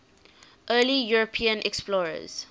early european explorers